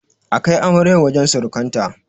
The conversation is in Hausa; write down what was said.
A kai amaryar wajen surukanta.